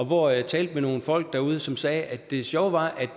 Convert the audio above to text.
hvor jeg talte med nogle folk derude som sagde at det sjove var